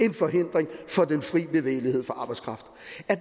en forhindring for den fri bevægelighed for arbejdskraft